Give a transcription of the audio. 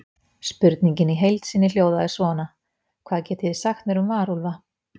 Spurningin í heild sinni hljóðaði svona: Hvað getið þið sagt mér um varúlfa?